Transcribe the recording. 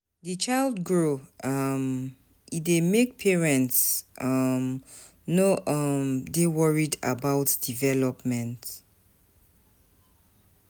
Di child grow um e dey make parents um no um dey worried about development